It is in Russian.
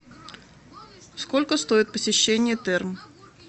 сколько стоит посещение терм